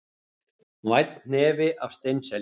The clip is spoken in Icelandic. Vænn hnefi af steinselju